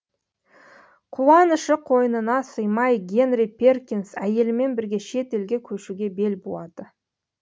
қуанышы қойнына сыймай генри перкинс әйелімен бірге шет елге көшуге бел буады